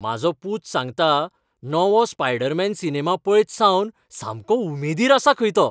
म्हाजो पूत सांगता नवो स्पायडरमॅन सिनेमा पळयतसावन सामको उमेदीर आसा खंय तो.